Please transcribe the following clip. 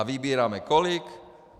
A vybíráme kolik?